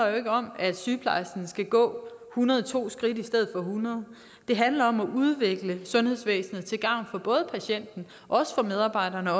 jo ikke om at sygeplejersken skal gå hundrede og to skridt i stedet for hundrede det handler om at udvikle sundhedsvæsenet til gavn for både patienten og medarbejderne